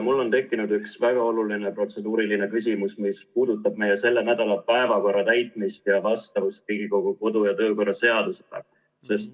Mul on tekkinud üks väga oluline protseduuriline küsimus, mis puudutab meie selle nädala päevakorra täitmist ja vastavust Riigikogu kodu- ja töökorra seadusele.